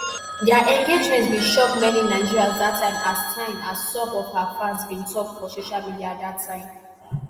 dia engagement bin shock many nigerians dat time as time as some of her fans bin tok for social media dat time